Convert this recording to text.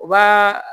U b'a